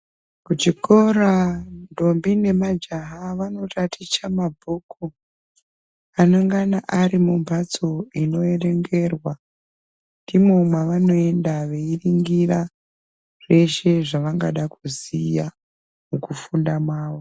Kuchikora ntombi nemajaha vanotaticha mabhuku anongana ari mumbatso ino erengerwa ndimo mwavanoenda veiringira zveshe zvavangada kuziya mukufunda mwavo.